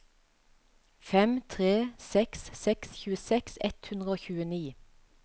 fem tre seks seks tjueseks ett hundre og tjueni